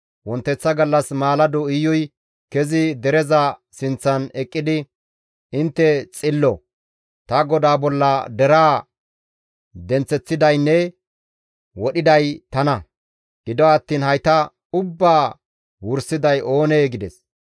Wonteththa gallas maalado Iyuy kezi dereza sinththan eqqidi, «Intte xillo; ta godaa bolla deraa denththeththidaynne wodhiday tana. Gido attiin hayta ubbaa wursiday oonee?» gides.